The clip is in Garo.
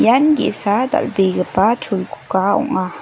ian ge·sa dal·begipa cholguga ong·a.